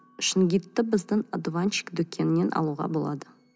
шунгитті біздің одуванчик дүкенінен алуға болады